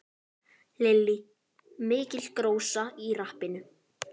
Lillý: Mikil gróska í rappinu?